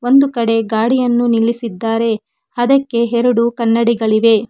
ಒಂದು ಕಡೆ ಗಾಡಿಯನ್ನು ನಿಲ್ಲಿಸಿದ್ದಾರೆ ಅದಕ್ಕೆ ಎರಡು ಕನ್ನಡಿ ಗಳಿವೆ.